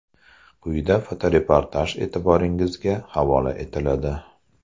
Quyida fotoreportaj e’tiboringizga havola etiladi.